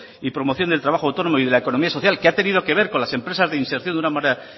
y promoción del trabajo de autónomo y de la economía social que ha tenido que ver con las empresas de inserción de una manera